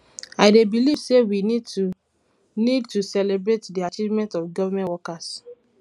i dey believe say we need to need to celebrate di achievement of government workers